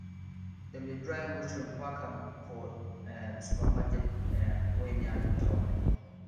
dem dey dry mushroom pack um am for um supermarket um wey near town